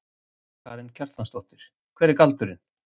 Karen Kjartansdóttir: Hver er galdurinn?